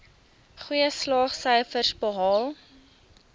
goeie slaagsyfers behaal